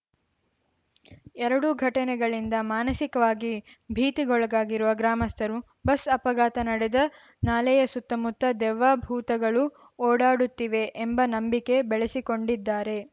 ಎರಡು ಘಟನೆಗಳಿಂದ ಮಾನಸಿಕವಾಗಿ ಭೀತಿಗೊಳಗಾಗಿರುವ ಗ್ರಾಮಸ್ಥರು ಬಸ್‌ ಅಪಘಾತ ನಡೆದ ನಾಲೆಯ ಸುತ್ತಮುತ್ತ ದೆವ್ವ ಭೂತಗಳು ಓಡಾಡುತ್ತಿವೆ ಎಂಬ ನಂಬಿಕೆ ಬೆಳೆಸಿಕೊಂಡಿದ್ದಾರೆ